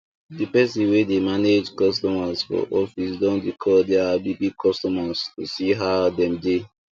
the person wey dey mange customers for office don dey call their big big customers to see how dem dey